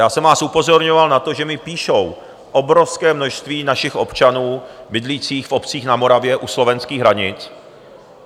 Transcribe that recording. Já jsem vás upozorňoval na to, že mi píše obrovské množství našich občanů bydlících v obcích na Moravě u slovenských hranic.